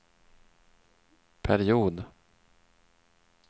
period